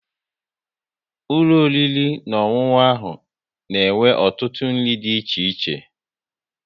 Ulọ oriri na ọṅụṅụ ahụ na-enwe ọtụtụ nri dị iche iche